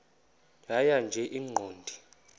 tjhaya nje iqondee